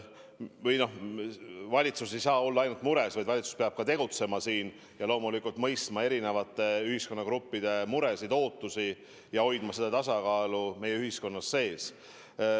Või noh, valitsus ei saa olla ainult mures, valitsus peab ka tegutsema, loomulikult mõistma erinevate ühiskonnagruppide muresid-ootusi ja hoidma tasakaalu meie ühiskonna sees.